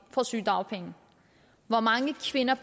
får sygedagpenge og hvor mange kvinder